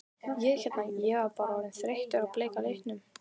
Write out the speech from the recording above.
Ég hérna. ég var bara orðinn þreyttur á bleika litnum.